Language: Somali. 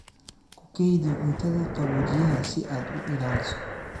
Ku kaydi cuntada qaboojiyaha si aad u ilaaliso.